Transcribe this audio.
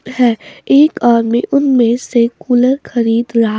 है एक आदमी उनमें से कूलर खरीद रहा--